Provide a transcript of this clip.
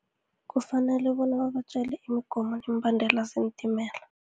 Kufanele bona babatjele imigomo, nemibandela zeentimela.